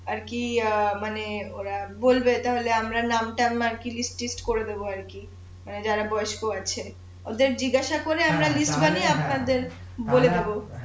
আর কি মানে অ্যাঁ ওরা বলবে তাহলে আমরা নাম টাম আরকি লিস্ট টিস্ট করে দেবো আর কি যারা বয়স্ক আছে ওদের জিজ্ঞাসা করে আমরা লিস্ট বানিয়ে আপনাদের বলে দেবো